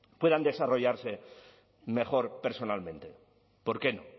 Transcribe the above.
puedan desarrollarse mejor personalmente por qué no